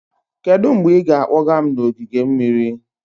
Kedu mgbe ị ga-akpọga m n'ogige mmiri?